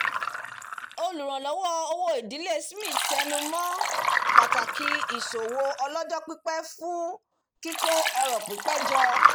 olùránlọ́wọ́ owó ìdílé smith tẹnumọ́ pàtàkì ìsòwò ọlọ́jọ́ pípẹ́ fún kíkó ọrọ̀ pípẹ́ jọ